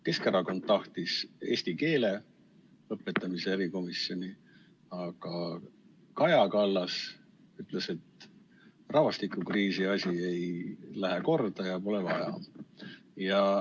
Keskerakond tahtis eesti keele õpetamise erikomisjoni, aga Kaja Kallas ütles, et rahvastikukriisi asi ei lähe korda ja pole vaja.